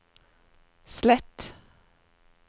slett